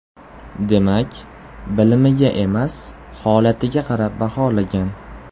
Demak, bilimiga emas, holatiga qarab baholagan.